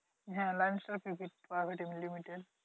হ্যাঁ Lion starprivate and limited